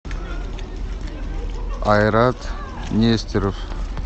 айрат нестеров